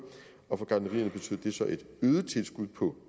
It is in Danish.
og for gartnerierne betød det så et øget tilskud på